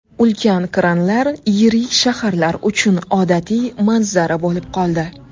Ulkan kranlar yirik shaharlar uchun odatiy manzara bo‘lib qoldi.